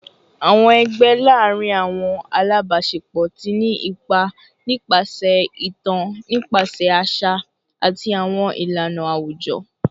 Awọn ẹgbẹ laarin awọn alabaṣepọ ti ni ipa nipasẹ itan nipasẹ aṣa ati awọn ilana awujọ